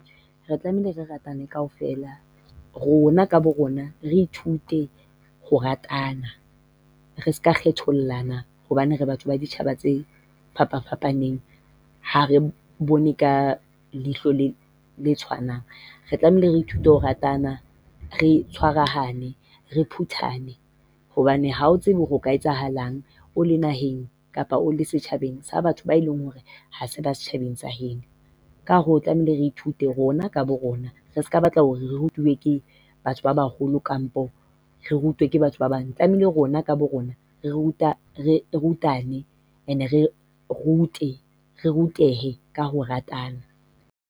Re tlamehile re ratane kaofela rona ka borona re ithute ho ratana. Re seka kgethollana hobane re batho ba ditjhaba tse fapafapaneng, ha re bone ka leihlo le tshwanang. Re tlamehile re ithute ho ratana. Re tshwarahane. Re phuthane hobane ha o tsebe hore ho ka etsahalang o le naheng kapa o le setjhabeng sa batho ba e leng hore ha se ba setjhabeng sa heno. Ka hoo, tlamehile re ithute rona ka borona. Re seka batla hore re rutwe ke batho ba baholo kapa re rutwe ke batho ba bang. Tlamehile rona ka borona re ruta re rutane. Re rute rutehe ka ho ratana.